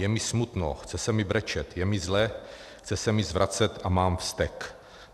Je mi smutno, chce se mi brečet, je mi zle, chce se mi zvracet a mám vztek.